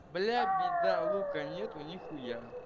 бля бида лука нету нихуя